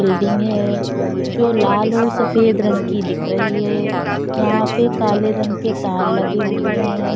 Building है जो लाल और सफ़ेद रंग की दिख रही है यहाँ पे काले रंग के तार लगे हुए है।